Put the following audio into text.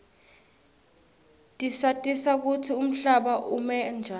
tisatisa kutsi umhlaba ume njani